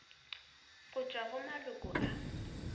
go tšwa go maloko a